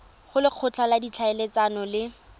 go lekgotla la ditlhaeletsano le